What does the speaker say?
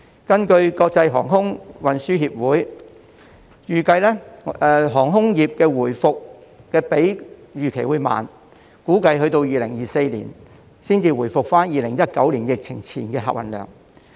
根據國際航空運輸協會預計，航空業的回復會比預期慢，估計2024年才回復至2019年疫情前的客運量。